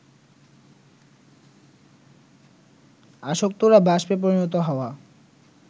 আসক্তরা বাষ্পে পরিণত হওয়া